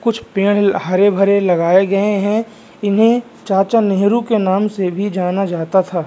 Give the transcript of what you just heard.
कुछ पेड़ हरे-भरे लगाए गए है इन्हें चाचा नेहरू के नाम से भी जाना जाता था।